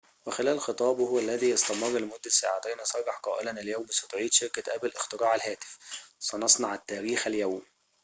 وخلال خطابه الذي استمر لمدة ساعتين صرح قائلاً اليوم ستعيد شركة أبل اختراع الهاتف سنصنع التاريخ اليوم